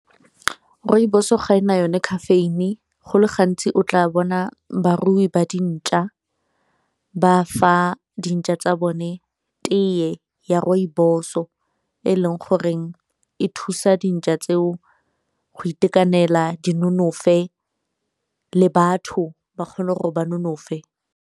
Rooibos-o ga e na yone caffeine, go le gantsi o tla bona barui ba dintšwa ba fa dintšwa tsa bone teye ya rooibos o e leng goreng e thusa dintšwa tseo go itekanela di nonofe le batho ba kgone gore ba nonofe.